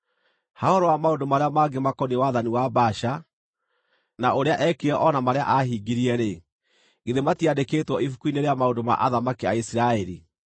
Ha ũhoro wa maũndũ marĩa mangĩ makoniĩ wathani wa Baasha, na ũrĩa eekire o na marĩa aahingirie-rĩ, githĩ matiandĩkĩtwo ibuku-inĩ rĩa maũndũ ma athamaki a Isiraeli?